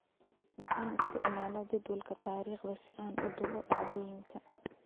Waxaan isticmaalaa jadwalka taariikhda si aan u duubo dhacdooyinka.